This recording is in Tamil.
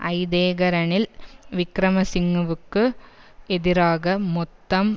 ஐதேக ரணில் விக்கிரமசிங்கவுக்கு எதிராக மொத்தம்